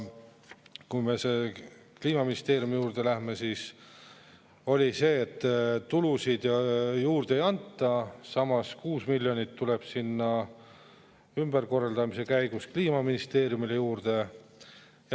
Kui me Kliimaministeeriumi juurde lähme, siis tulusid juurde ei anta, samas 6 miljonit tuleb ümberkorraldamise käigus Kliimaministeeriumile juurde.